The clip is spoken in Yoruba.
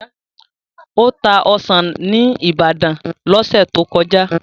Ó ta ọsàn ní Ibadan lọ́sẹ̀ tó kọjá.